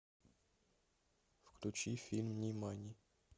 включи фильм нимани